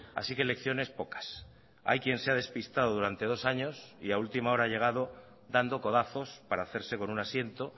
así que lecciones pocas hay quien se ha despistado durante dos años y a última hora ha llegado dando codazos para hacerse con un asiento